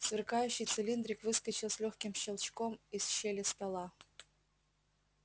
сверкающий цилиндрик выскочил с лёгким щелчком из щели стола